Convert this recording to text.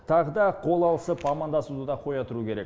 тағы да қол алысып амандасуды да қоя тұру керек